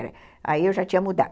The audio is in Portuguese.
Aí eu já tinha mudado.